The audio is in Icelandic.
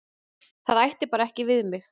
Það ætti bara ekki við mig.